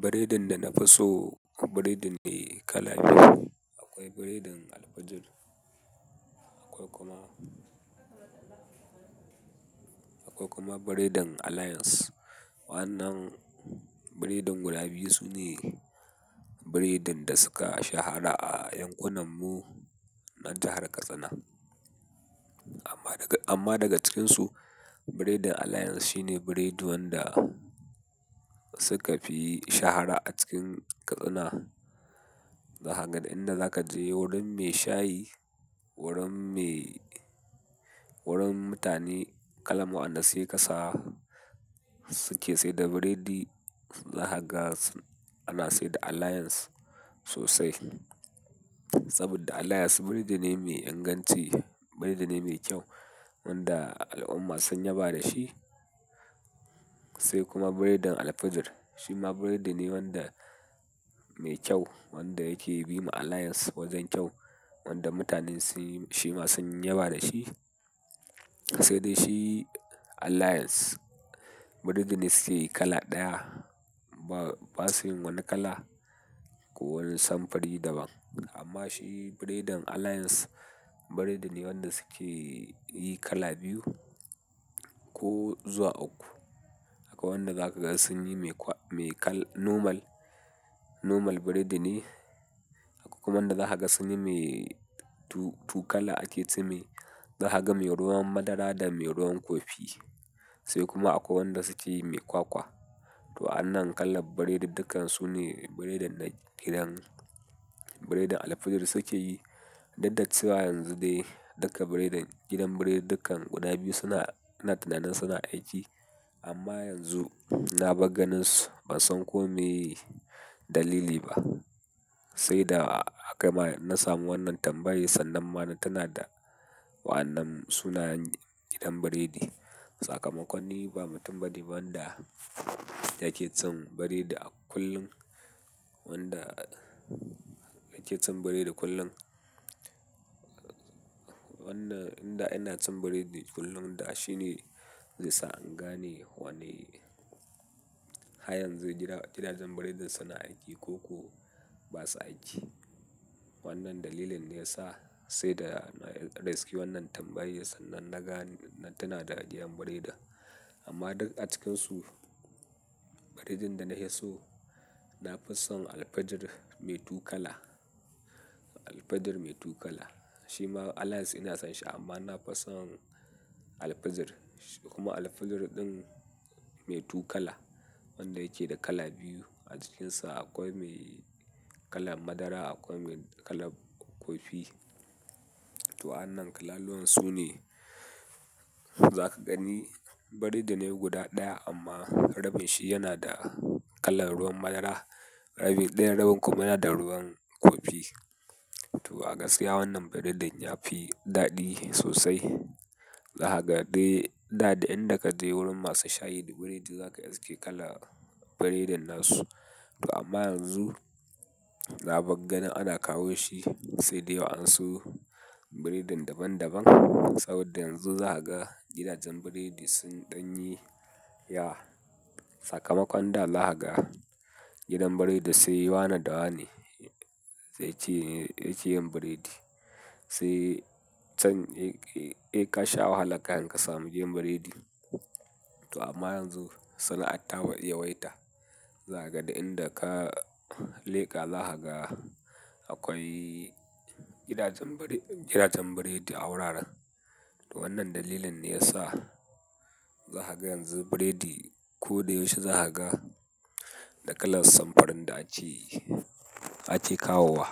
Biredin da na fi so biredin ne kala biyu. Akwai biredin Alfajir, akwai kuma, akwai kuma biredin Alliance. Wannan biredin guda biyu sune biredin da suka shahara a yankunan mu na jahar Katsina. Amma daga, amma daga cikinsu, biredin Alliance shine biredin wanda suka fi shahara a cikin Katsina. Zahaga du inda zaka je wurin mai shayi, wurin mai-- wurin mutane kalan mu wa'anda saye ƙasa suke sai da biredi zahaga ana sai da Alliance sosai. Saboda Alliance biredi ne mai inganci, biredi ne mai kyau wanda al'umma sun yaba da shi. Sai kuma biredin Alfajir, shi ma biredi ne wanda mai kyau wanda yake bi ma Alliance wajen kyau wanda mutane sun yi, shi ma sun yaba da shi. Sai dai shi Alliance biredi ne suke yi kala ɗaya, ba, ba su yin wani kala ko wani samfuri daban. Amma shi biredin Alliance biredi ne wanda suke yi kala biyu ko zuwa uku. Akwai wanda zaka ga sun yi mai kwa, mai kala normal, normal biredi ne. Akwai kuma wanda zaha ga sun yi mai tu-tukala ake cewai, zahaga mai ruwan madara da mai ruwan kofi. Sai kuma akwai wanda suke yi mai kwakwa. To wa'annan kalan biredudukkan su ne biredin na gidan biredin Alfajir suke yi. Dudda cewa yanzu dai duka biredin gidan biredidukkan guda biyu suna, ina tinanin suna aiki. Amma yanzu na bar ganin su ban san ko me ye dalili ba. Sai da aka ma, na samu wannan tambayai sannan ma na tina da wa'annan sunayen gidan biredi. Sakamakon ni ba mutum ba me ba wanda yake cin biredi a kullum, wanda yake cin biredi kullum. Wanda, inda ina cin biredi kullum da shi ne zai sa in gane wane har yanzu gidajen, gidajen biredin suna aiki ko ba su aiki. Wannan dalilin ne ya sa sai da na reski wannan tambayai sannan na gane na tina da gidan biredin, amma duk a cikinsu, biredin da na hi so, na fi son Alfajir mai tukala. Alfajir mai tukala. Shi ma Alliance ina son shi amma na fi son Alfajir. Kuma Alfajir ɗin mai tukala wanda yake da kala biyu a cikinsa. Akwai mai kalan madara, akwai mai kalan kofi. To wa'annan kalaluwan su ne za ka gani biredi ne guda ɗaya amma rabin shi yana da kalan ruwan madara. Rabin, ɗayan rabin kuma yana da ruwan kofi. To a gaskiya wannan biredin ya fi daɗi sosai. Zahaga dai da, duk inda ka je wurin masu shayi da biredi za ka iske kalar biredin nasu. To amma yanzu na bar ganin ana kawo shi sai dai wa'ansu biredin daban daban. Saboda yanzu zahaga gidajen biredi sun ɗan yi yawa, sakamakon da zahaga gidan biredi sai wane da wane zai ci, zai ci yin biredi. Sai can eh sai ka sha wahala kahin ka samu gidan biredi to amma yanzu suna ta yawaita. Zahaga du inda ka leka zahaga akwai gidajen biredi, gidajen biredi a wuraren. To wannan dalilin ne ya sa zahaga yanzu biredi ko da yaushe zahaga da kalan samfurin da ake, ake kawowa.